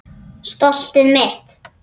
Stoltið mitt.